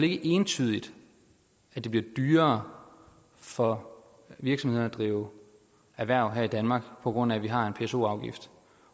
ikke entydigt at det bliver dyrere for virksomhederne at drive erhverv her i danmark på grund af at vi har en pso afgift